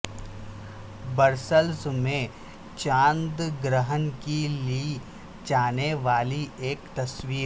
Brussels میں چاند گرہن کی لی جانے والی ایک تصویر